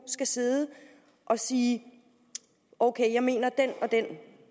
skal sidde og sige ok jeg mener den og den